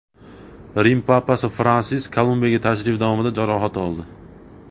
Rim papasi Fransisk Kolumbiyaga tashrifi davomida jarohat oldi.